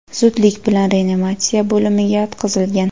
zudlik bilan reanimatsiya bo‘limiga yotqizilgan.